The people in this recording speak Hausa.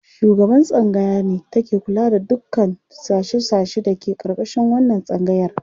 Shugaban tsangaya ne take kula da dukkan sashe-sashe da ke ƙarƙashin wannan tsangayar.